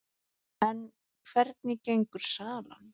En hvernig gengur salan?